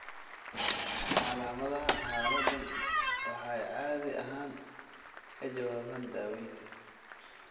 Calaamadaha xaaladdan waxay caadi ahaan ka jawaabaan daaweynta.